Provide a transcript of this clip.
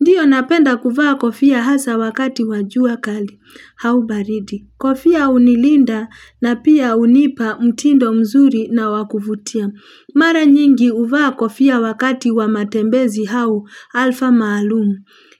Ndio napenda kuvaa kofia hasa wakati wajua kali, hau baridi. Kofia unilinda na pia unipa mtindo mzuri na wakuvutia. Mara nyingi uvaa kofia wakati wa matembezi hau alfa maalum